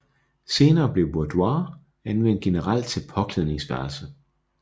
Senere blev boudoir anvendt generelt til påklædningsværelse